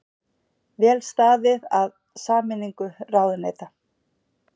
Vel staðið að sameiningu ráðuneyta